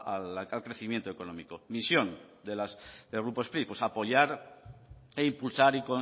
al crecimiento económico visión del grupo spri pues apoyar e impulsar